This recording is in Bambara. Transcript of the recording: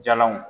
Jalanw